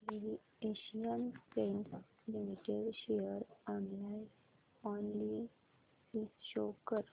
Asian Paints Limited share analysis show कर